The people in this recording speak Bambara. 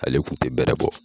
Ale kun tɛ bɛrɛ bɔ !